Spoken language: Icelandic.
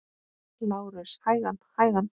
LÁRUS: Hægan, hægan!